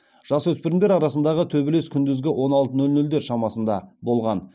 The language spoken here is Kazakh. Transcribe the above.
жасөспірімдер арасындағы төбелес күндізгі он алты нөл нөлдер шамасында болған